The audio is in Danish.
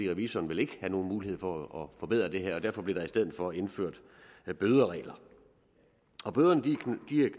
revisoren ville ikke have nogen mulighed for at forbedre det her og derfor bliver der i stedet for indført bøderegler bøderne